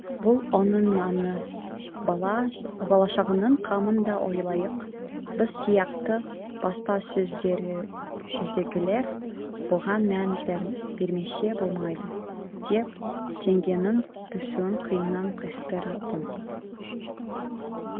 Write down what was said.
бұл оның наны бала шағаның қамын да ойлайық біз сияқты баспасөздегілер бұған мән бермесе болмайды деп теңгенің түсуін қиыннан қиыстыратын